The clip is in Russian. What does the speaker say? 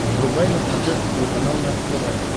врубай на смотрешке телеканал наше тв